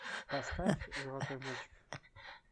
поставь золотой мальчик